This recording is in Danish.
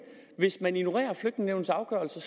hvis man ignorerer afgørelsen